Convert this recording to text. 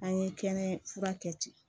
An ye kɛnɛ fura kɛ ten